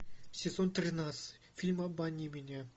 сезон тринадцать фильм обмани меня